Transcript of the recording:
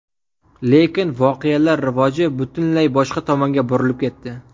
Lekin voqealar rivoji butunlay boshqa tomonga burilib ketdi.